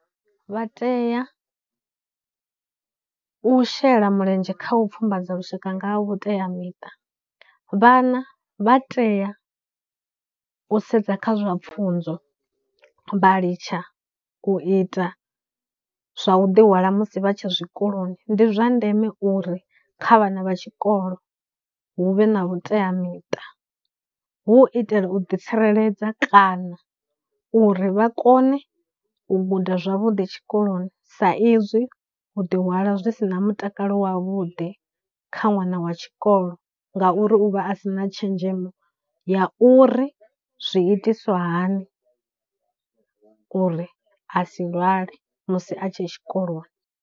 Vha teya u shela mulenzhe kha u pfhumbadza lushaka nga ha vhuteamiṱa, vhana vha tea u sedza kha zwa pfhunzo vha litsha u ita zwa u ḓi hwala musi vha tshe zwikoloni, ndi zwa ndeme uri kha vhana vha tshikolo hu vhe na vhuteamiṱa hu u itela u ḓi tsireledza, kana uri vha kone u guda zwavhuḓi tshikoloni sa izwi u ḓi hwala zwi sina mutakalo wa vhuḓi kha ṅwana wa tshikolo ngauri u vha a sina tshenzhemo ya uri zwi itiswa hani uri a si lwale musi a tshe tshikoloni.